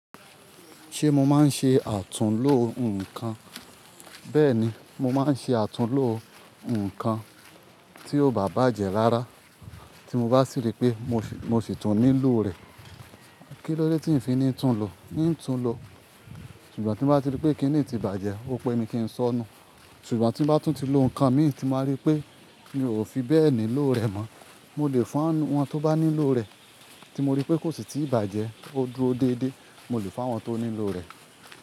Ṣé mo máa ń ṣe àtúnlò nǹkan? Bẹ́ẹ̀ni, mo máa ń ṣe àtúnlò nǹkan tí ó ba bàjẹ́ rárá tí mo bá sì rí pé mo sì tún nílò rẹ̀. Kílódé tí ń fi ní tún lo? N tún lo. Ṣùgbọ́n tí mo bá ti rí pé kíni tí bàjẹ́, ó pé mi kí ń sọ nu. Ṣùgbọ́n tí mo bá tún ti lo nǹkan mi tí mo rí pé mi ò fi bẹ́ẹ̀ nílò rẹ̀ mọ́, mo lè fún àwọn tó bá nílò rẹ̀ tí mo rí pé kò sì tíì bàjẹ́, ó dúró déédéé, mo lè fún àwọn tó nílò rẹ̀.